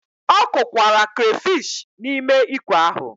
Ọ kụkwara crayfish n'ime ikwe ahụ.